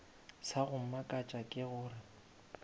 sa go mmakatša ke gore